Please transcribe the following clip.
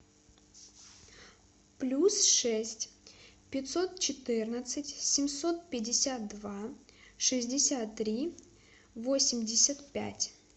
плюс шесть пятьсот четырнадцать семьсот пятьдесят два шестьдесят три восемьдесят пять